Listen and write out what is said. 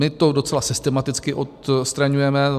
My to docela systematicky odstraňujeme.